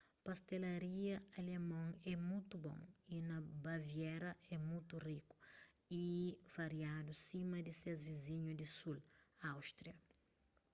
pastelaria alemon é mutu bon y na baviera é mutu riku y variadu sima di ses vizinhu di sul áustria